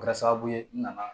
Kɛra sababu ye n nana